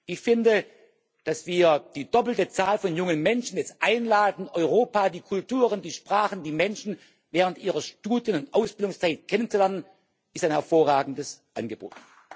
Ich finde Dass wir die doppelte Zahl von jungen Menschen jetzt einladen, Europa, die Kulturen, die Sprachen, die Menschen während ihrer Studien und Ausbildungszeit kennenzulernen, ist ein hervorragendes Angebot.